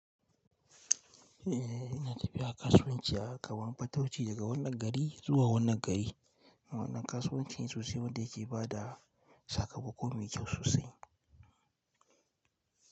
Eh ina tafiya kasuwanci a kamar fatauci daga wannan gari zuwa wannan gari. Wannan kasuwancin sosai wanda yake bada sakamako mai kyau sosai.